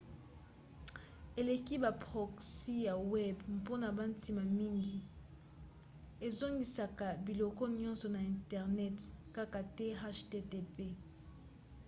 eleki ba proxys ya web mpona bantina mingi: ezongisaka biloko nyonso na internet kaka te http